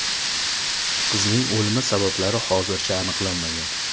Qizning o‘limi sabablari hozircha aniqlanmagan.